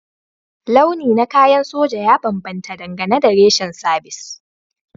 Launi na kayan soja ya bambanta dangane da reshen sabis